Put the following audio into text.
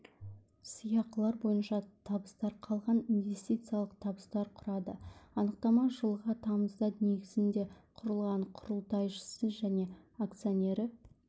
сыйақылар бойынша табыстар қалған инвестициялық табыстар құрады анықтама жылғы тамызда негізінде құрылды құрылтайшысы және акционері